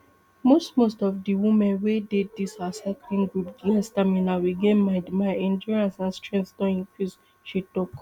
most most of di women wey dey dis our cycling group get stamina we get mind my endurance and strength don increase she tok